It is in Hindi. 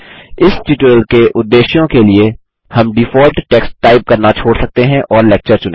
इस ट्यूटोरियल के उद्देश्यों के लिए हम डिफॉल्ट टेक्स्ट टाइप करना छोड़ सकते हैं और लेक्चर चुनें